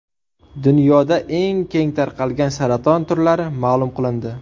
Dunyoda eng keng tarqalgan saraton turlari ma’lum qilindi.